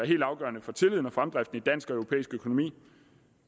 helt afgørende for tilliden og fremdriften i dansk og europæisk økonomi